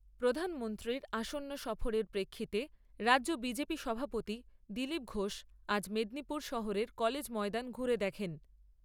প্রধানমন্ত্রীর আসন্ন সফরের প্রেক্ষিতে রাজ্য বিজেপি সভাপতি দিলীপ ঘোষ আজ মেদিনীপুর শহরের কলেজ ময়দান ঘুরে দেখেন।